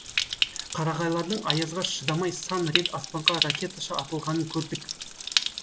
қарағайлардың аязға шыдамай сан рет аспанға ракеташа атылғанын көрдік